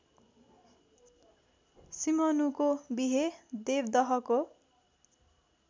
सिंहनुको विहे देवदहको